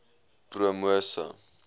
promosa